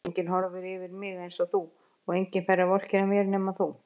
Enginn horfir yfir mig einsog þú og enginn fær að vorkenna mér nema þú.